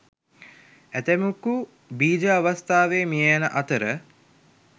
ඇතැමෙකු බීජ අවස්ථාවේ මිය යන අතර